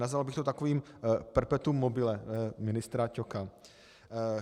Nazval bych to takovým perpetuum mobile ministra Ťoka.